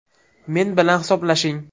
Men bilan hisoblashing.